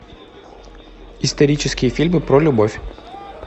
исторические фильмы про любовь